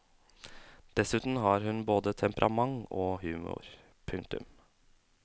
Dessuten har hun både temperament og humor. punktum